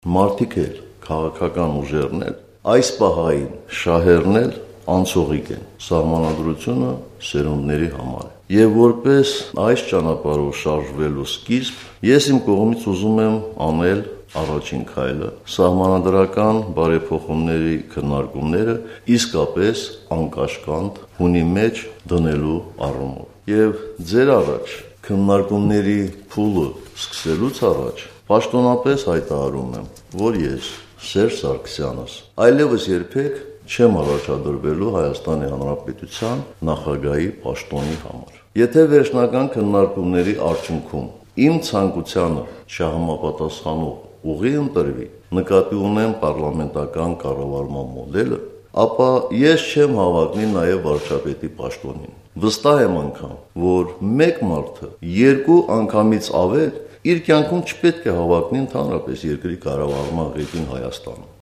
Մարդիկ էլ, քաղաքական ուժերն էլ, այսպահային շահերն էլ անցողիկ են, Սահմանադրությունը սերունդների համար է: Եվ որպես այս ճանապարհով շարժվելու սկիզբ, ես իմ կողմից ուզում եմ անել առաջին քայլը սահմանադրական բարեփոխումների քննարկումները իսկապես անկաշկանդ հունի մեջ դնելու առումով: Եվ ձեր առաջ, քննարկումների փուլն սկսելուց առաջ, պաշտոնապես հայտարարում եմ, որ ես, Սերժ Սարգսյանս, այլևս երբեք չեմ առաջադրվելու Հայաստանի Հանրապետության Նախագահի պաշտոնի համար: Եթե վերջնական քննարկումների արդյունքում իմ ցանկությանը չհամապատասխանող ուղի ընտրվի, նկատի ունեմ պառլամենտական կառավարման մոդելը, ապա ես չեմ հավակնի նաև վարչապետի պաշտոնին: Վստահ եմ անգամ, որ մեկ մարդը երկու անգամից ավել իր կյանքում չպետք է հավակնի ընդհանրապես երկրի կառավարման ղեկին Հայաստանում: